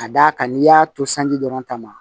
Ka d'a kan n'i y'a to sanji dɔrɔn ta ma